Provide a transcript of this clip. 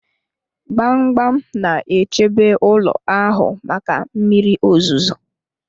Gbamgbam na-echebe ụlọ ahụ maka mmiri ozuzo